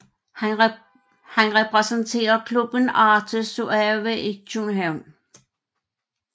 Han repræsenterer klubben Arte Suave i København